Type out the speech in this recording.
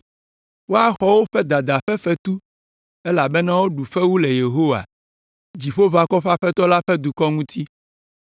Woaxɔ woƒe dada ƒe fetu, elabena woɖu fewu le Yehowa, Dziƒoʋakɔwo ƒe Aƒetɔ la ƒe dukɔ ŋuti.